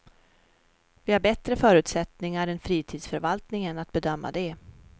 Vi har bättre förutsättningar än fritidsförvaltningen att bedöma det.